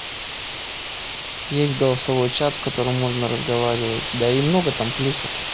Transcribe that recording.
есть голосовой чат в котором можно разговаривать да и много там плюсов